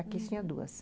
Aqui tinha duas.